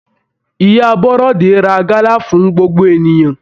Ìyá Bọ́rọ́de ra gala fún gbogbo ènìyàn.